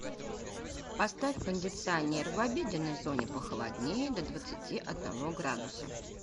поставь кондиционер в обеденной зоне похолоднее до двадцати одного градуса